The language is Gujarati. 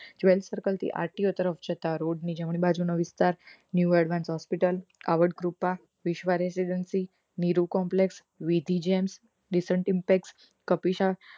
જ્વેલરી circleRTO તરફ જતા road ની જમણી બાજુનો વિસ્તાર new advent hospital કાવડ કૃપા વિશ્વ residency નીરુ complex વિધિ